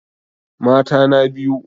Mata na biyu?